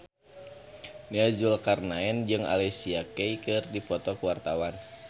Nia Zulkarnaen jeung Alicia Keys keur dipoto ku wartawan